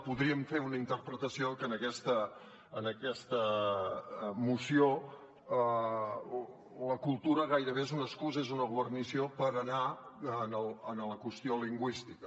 podríem fer una interpretació que en aquesta moció la cultura gairebé és una excusa és una guarnició per anar a la qüestió lingüística